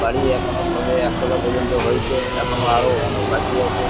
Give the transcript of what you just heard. বাড়ি এখনো সবে একতলা পর্যন্ত হয়েছে এখনো আরো অনেক বাকি আছে-এ--